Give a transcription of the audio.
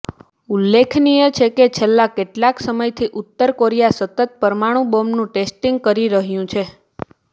ઉલ્લેખનીય છે કે છેલ્લા કેટલાક સમયથી ઉત્તર કોરીયા સતત પરમાણું બોંબનું ટેસ્ટીંગ કરી રહ્યુ છે